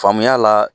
Faamuya la